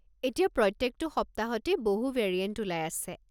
এতিয়া প্ৰত্যেকটো সপ্তাহতেই বহু ভেৰিয়েণ্ট ওলাই আছে।